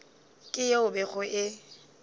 ke yeo e bego e